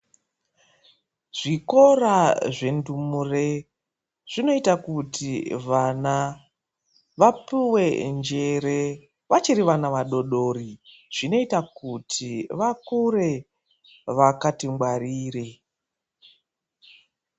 Zvikora zvendumure zvinoita kuti vana vapuwe njere vachiri vana vadodori zvinoita kuti vakure vakati ngwarire.